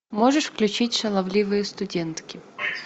можешь включить шаловливые студентки